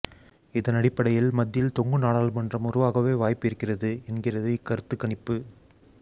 இதனடிப்படையில் மத்தியில் தொங்கு நாடாளுமன்றம் உருவாகவே வாய்ப்பு இருக்கிறது என்கிறது இக்கருத்து கணிப்பு